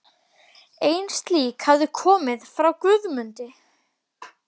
Ein slík hafði komið frá Guðmundi